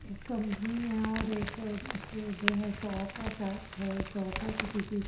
एक कंपनी है और एक उसकी जो है शॉप है शॉप है किसी की और।